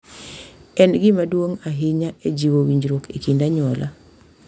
En gima duong’ ahinya e jiwo winjruok e kind anyuola.